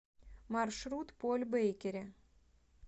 маршрут поль бейкери